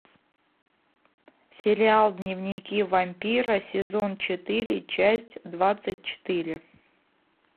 сериал дневники вампира сезон четыре часть двадцать четыре